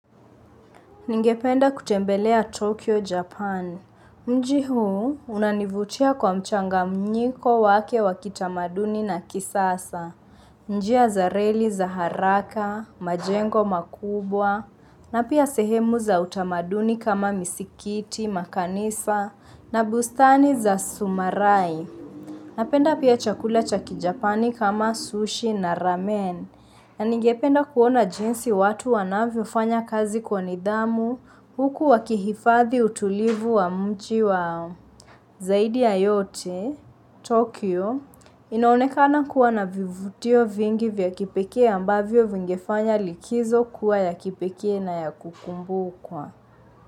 Ningependa kutembelea Tokyo, Japan. Mji huu unanivutia kwa mchanganyiko wake wakitamaduni na kisasa. Njia za reli za haraka, majengo makubwa, na pia sehemu za utamaduni kama misikiti, makanisa, na bustani za sumarai. Napenda pia chakula cha kijapani kama sushi na ramen. Nanigependa kuona jinsi watu wanavyo fanya kazi kwa nidhamu huku wakihifadhi utulivu wa mji wao zaidi ya yote, Tokyo. Inaonekana kuwa na vivutio vingi vya kipekee ambavyo vingefanya likizo kuwa ya kipekee na ya kukumbukwa.